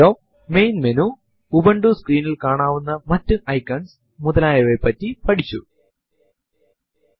ഇത് നമ്മളെ ഈ സ്പോകെൻ ടുടോരിയലിന്റെ അവസാന ഭാഗതെതിച്ചിരുക്കുകയാണ്